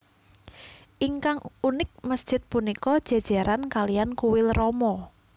Ingkang unik masjid punika jéjéran kaliyan kuil rama